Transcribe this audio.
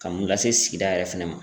Ka mun lase sigida yɛrɛ fɛnɛ ma.